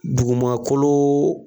Dugumakolo